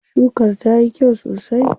Shukar tayi kyau sosai.